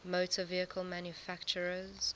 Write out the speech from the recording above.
motor vehicle manufacturers